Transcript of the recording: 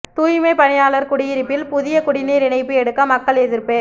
தூய்மை பணியாளர் குடியிருப்பில் புதிய குடிநீர் இணைப்பு எடுக்க மக்கள் எதிர்ப்பு